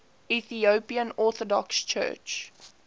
ethiopian orthodox church